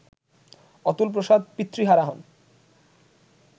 অতুলপ্রসাদ পিতৃহারা হন